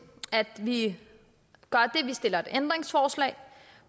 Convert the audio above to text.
at vi stiller et ændringsforslag